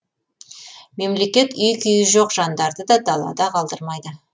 мемлекет үй күйі жоқ жандарды да далада қалдырмайды